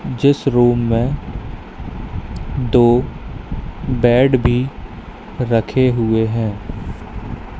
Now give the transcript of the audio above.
जिस रूम में दो बेड भी रखे हुए हैं।